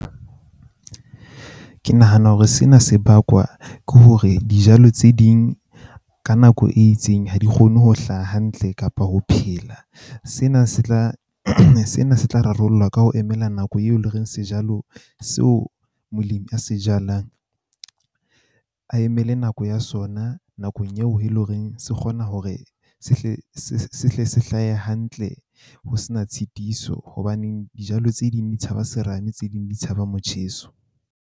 Ke nahana hore sena se bakwa ke hore dijalo tse ding ka nako e itseng ha di kgone ho hlaha hantle kapa ho phela. Sena se tla, sena se tla rarollwa ka ho emela nako eo le reng sejalo seo molemi a se jalang a emele nako ya sona nakong eo eleng horeng se kgona hore se hle se hle se hlahe hantle ho sena tshitiso. Hobaneng dijalo tse ding di tshaba serame, tse ding di tshaba motjheso.